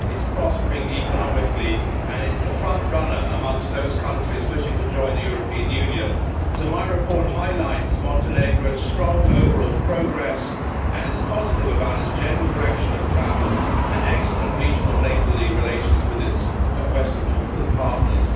It's prospering economically and it's the front runner amongst those countries wishing to join the European Union. So my report highlights Montenegro's strong overall progress and is positive about its general direction of travel and excellent regional neighbourly relations with its Western Balkan partners.